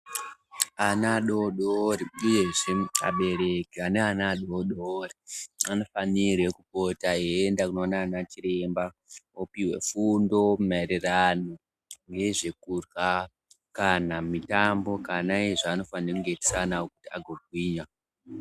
Ana adodori uyezve abereki ane ana adodori anofanirwe kupota eyi enda kuno ona ana chiremba opihwe fundo maererano nezve kurya kana mitambo kana iye zvaanofanirame kunge eyi itisa ana awo ago gwinya.